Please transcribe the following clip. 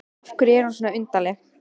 Af hverju er hún svona undarleg?